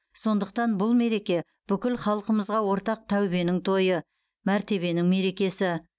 сондықтан бұл мереке бүкіл халқымызға ортақ тәубенің тойы мәртебенің мерекесі